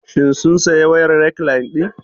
Shin sun saya wayar rekline ɗin?